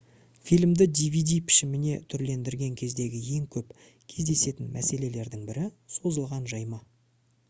фильмді dvd пішіміне түрлендірген кездегі ең көп кездесетін мәселелердің бірі созылған жайма